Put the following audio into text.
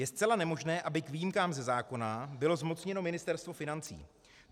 Je zcela nemožné, aby k výjimkám ze zákona bylo zmocněno Ministerstvo financí.